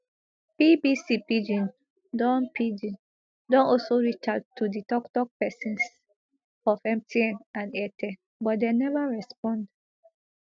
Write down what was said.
bbc pidgin don pidgin don also reach out to di toktok pesins of mtn and airtel but dem neva respond